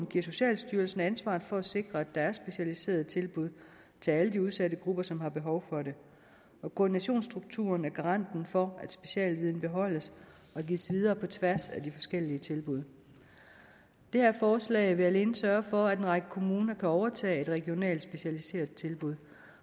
giver socialstyrelsen ansvaret for at sikre at der er specialiserede tilbud til alle de udsatte grupper som har behov for det og koordinationsstrukturen er garanten for at specialviden beholdes og gives videre på tværs af de forskellige tilbud det her forslag vil alene sørge for at en række kommuner kan overtage et regionalt specialiseret tilbud